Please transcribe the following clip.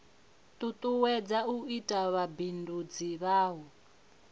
tutuwedza u ita vhubindudzi navho